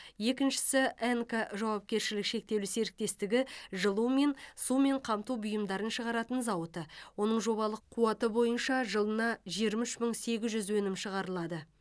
екіншісі энко жауапкершілігі шектеулі серіктестігі жылумен сумен қамту бұйымдарын шығаратын зауыты оның жобалық қуаты бойынша жылына жиырма үш мың сегіз жүз өнім шығарылады